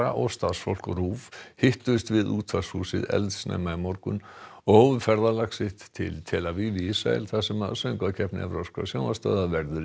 og starfsfólk RÚV hittust við útvarpshúsið eldsnemma í morgun og hófu ferðalag sitt til tel Aviv í Ísrael þar sem Söngvakeppni evrópskra sjónvarpsstöðva verður